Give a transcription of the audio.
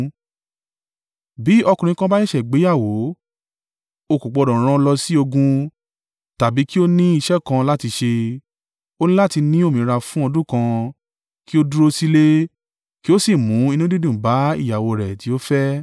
Bí ọkùnrin kan bá ṣẹ̀ṣẹ̀ gbéyàwó, o kò gbọdọ̀ ran lọ sí ogun tàbí kí ó ní iṣẹ́ kan láti ṣe. Ó ní láti ní òmìnira fún ọdún kan kí ó dúró sílé kí ó sì mú inú dídùn bá ìyàwó rẹ̀ tí ó fẹ́.